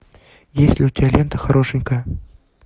есть ли у тебя лента хорошенькая